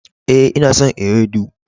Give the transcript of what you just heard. Eh, nna son ewedu.